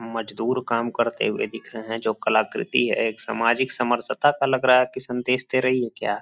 मजदूर काम करते हुए दिख रहे हैं जो कलाक्रति है एक समाजिक समरसता का लग रहा है की संदेश दे रही है क्या --